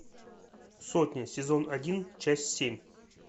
сотня сезон один часть семь